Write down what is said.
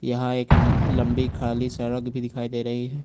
यहां एक लंबी खाली सड़क भी दिखाई दे रही है।